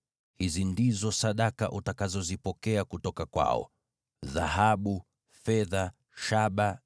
Hizi ndizo sadaka utakazozipokea kutoka kwao: dhahabu, fedha na shaba;